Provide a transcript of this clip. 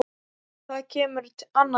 En það kemur annað til.